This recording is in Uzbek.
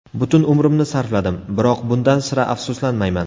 Butun umrimni sarfladim, biroq bundan sira afsuslanmayman.